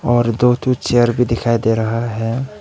और दो ठो चेयर भी दिखाई दे रहा है।